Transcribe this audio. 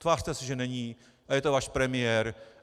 Tvařte se, že není, ale je to váš premiér.